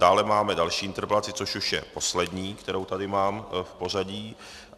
Dále máme další interpelaci, což už je poslední, kterou tady mám v pořadí.